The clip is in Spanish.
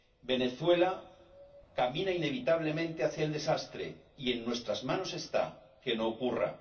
Venezuela camina inevitablemente hacia el desastre y en nuestras manos está que no ocurra.